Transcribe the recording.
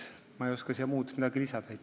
Ma ei oska siia muud midagi lisada.